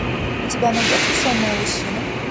у тебя найдется сонная лощина